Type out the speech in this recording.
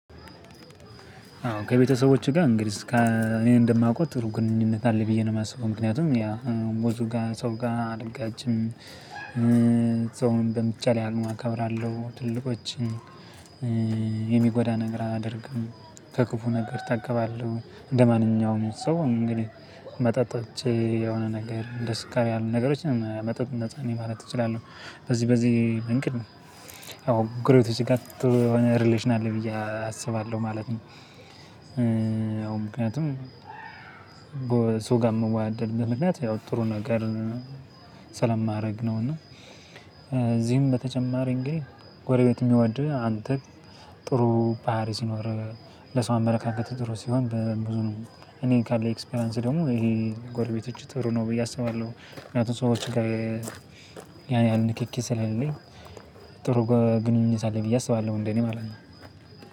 አዎ ከቤተሰቦቼ ጋር እንግዲህ እኔ እንደማውቀው ግንኙነት አለ ብዬ ነው የማስበው ምክንያቱም ያ ብዙ ጋር ሰው ጋር አልጋጭም። ሰውን በሚቻልለኝ አቅም አከብራለሁ ትልልቆችን። የሚጎዳ ነገር አላደርግም ከክፉ ነገር እታቀባለው እንደማንኛውም ሰው እንግዲህ መጠጥ ጠጥቼ የሆነ ነገር እንደ ስካር ያሉ ነገሮችንም መጠጥ ነፃ ማለት እችላለሁ። በዚህ በዚህ እንግዲህ ነው። ያው ግሬት ሲጋት የሆነ ሪሌሽን አለ ብዬ አስባለሁ ማለት ነው። ማለት ነው ያው ምክንያቱም ሰው ጋር ምወደድበት በምክንያት ያው ጥሩ ነገር ስለማድረግ ነው። እና እዚህም በተጨማሪ እንግዲህ ጎረቤት የሚወድህ አንተ ጥሩ ባህሪ ሲኖር ለሰው አመለካከት ጥሩ ሲሆን በብዙ ነው እኔ ካለኝ ኤክስፒሪያንስ ደግሞ ይሄ ጎረቤቶች ጥሩ ነው ብዬ አስባለሁ። ምክንያቱም ሰዎች ጋር ያን ያህል ንክኪ ስለሌለኝ ጥሩ ግንኙነት አለኝ ብዬ አስባለሁ። እንደ እኔ ማለት ነው።